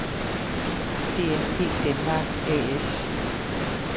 DNP denmark A/S